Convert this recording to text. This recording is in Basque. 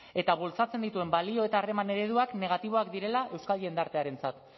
eta bultzatzen dituen balio eta harreman ereduak negatiboak direla eukal jendartzearentzat